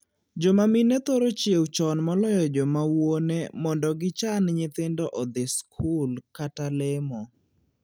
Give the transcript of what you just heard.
Joma mine thoro chiewo chon moloyo joma wuone mondo gichan nyithindo odhii skul kata lemo.